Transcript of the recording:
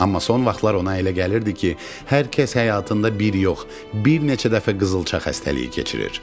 Amma son vaxtlar ona elə gəlirdi ki, hər kəs həyatında bir yox, bir neçə dəfə qızılça xəstəliyi keçirir.